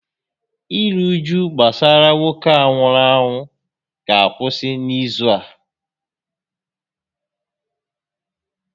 Iru uju gbasara nwoke a nwụrụ anwụ ga akwụsị n'izu a